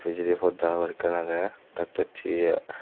bidiri podda habor ekkan age doctochi.